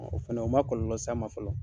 O fɛnɛ o ma kɔlɔlɔ s'an ma fɔlɔ